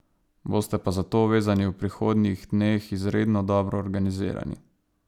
Boste pa zato vezani v prihodnjih dneh izredno dobro organizirani.